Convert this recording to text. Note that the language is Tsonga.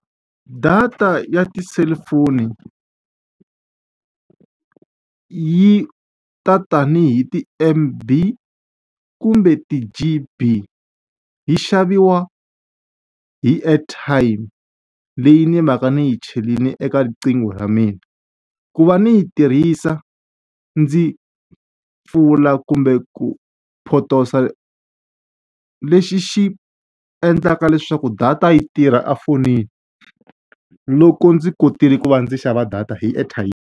Data ya ti-cellphone yi ta tanihi ti-M_B kumbe ti-G_B, yi xaviwa hi airtime leyi ni mhaka ni yi cherile eka riqingho ra mina. Ku va ni yi tirhisa ndzi pfula kumbe ku potosa lexi xi endlaka leswaku data yi tirha efonini, loko ndzi kotile ku va ndzi xava data hi airtime.